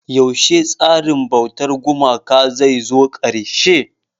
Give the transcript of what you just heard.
Yaushe tsarin bautar gumaka zai zo ƙarshe?